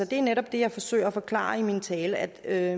det er netop det jeg forsøger at forklare i min tale altså at